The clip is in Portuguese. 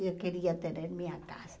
Eu queria ter a minha casa.